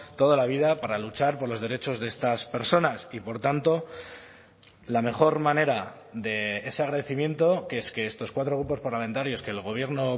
toda la vida para luchar por los derechos de estas personas y por tanto la mejor manera de ese agradecimiento que es que estos cuatro grupos parlamentarios que el gobierno